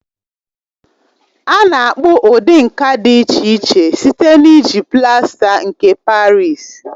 A na-akpụ ụdị nka dị iche iche site na-iji plasta nke Parịsi.